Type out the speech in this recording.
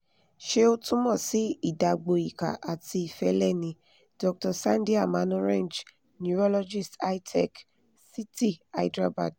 ṣé o tumọ̀ sí ìdágbò ìkà ati ìfẹ́lẹ̀ ni? dr sandhya manorenj neurologist hi-tech city hyderabad